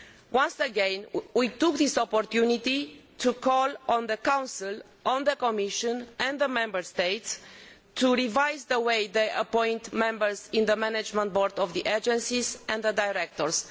Once again we took this opportunity to call on the Council, the Commission and the Member States to revise the way they appoint members of the management boards of the agencies, as well as the directors.